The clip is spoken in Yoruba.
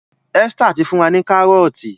Esther tí fún wá ní Kárọ́ọ̀tì